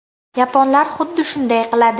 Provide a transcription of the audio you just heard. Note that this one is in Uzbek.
Yaponlar xuddi shunday qiladi.